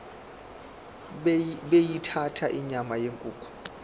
beyithanda inyama yenkukhu